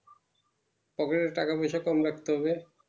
পকেটে টাকা পয়সা কম রাখতে হবে